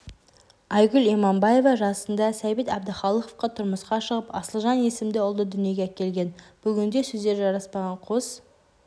айгүл иманбаева жасында сәбит әбдіхалықовқа тұрмысқа шығып асылжан есімді ұлды дүниеге әкелген бүгінде сөздері жараспаған қос